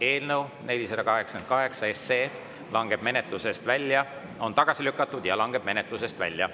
Eelnõu 488 on tagasi lükatud ja langeb menetlusest välja.